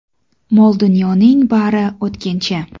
Mol-dunyoning bari o‘tkinchi.